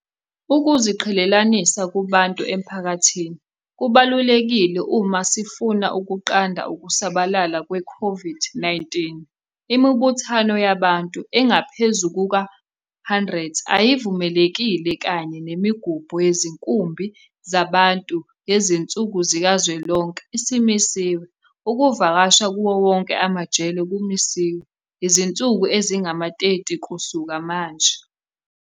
Ukuziqhelelanisa kubantu emphakathini kubalulekile uma sifuna ukunqanda ukusabalala kwe-COVID-19. Imibuthano yabantu abangaphezu kwe-100 ayivumelekile kanye nemigubho yezinkumbi zabantu yezinsuku zikazwelonke isimisiwe. Ukuvakasha kuwo wonke amajele kumisiwe izinsuku ezingama-30 kusuka manje.